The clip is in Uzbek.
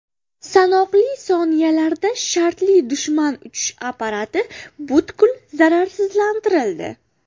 Sanoqli soniyalarda shartli dushman uchish apparati butkul zararsizlantirildi.